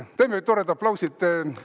Teeme ühe toreda aplausi!